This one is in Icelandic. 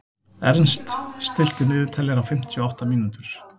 Ernst, stilltu niðurteljara á fimmtíu og átta mínútur.